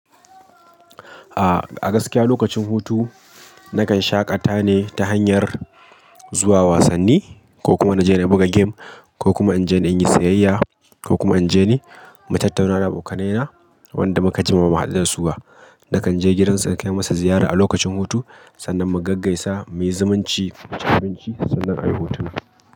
A'a, a gaskiya lokacin hutu nakan shaƙata ne ta hanyar zuwa wasanni, ko kuma na je na buga game, ko kuma inje in dan yi sayayya ko kuma inje ni mu tattauna da abokanai na wadan da muka jima bamu haɗu dasu ba. Nakan je gidansa nakai masa ziyara a lokacin hutu, sannan mu gaggaisa, muyi zumunci, muci abinci sannan a yi hotuna.